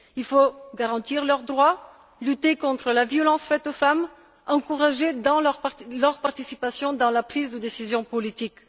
Il faut garantir leurs droits, lutter contre la violence faite aux femmes et encourager leur participation dans la prise de décisions politiques.